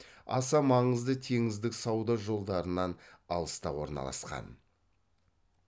аса маңызды теңіздік сауда жолдарынан алыста орналасқан